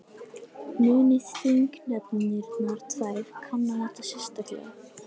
Muni þingnefndirnar tvær kanna þetta sérstaklega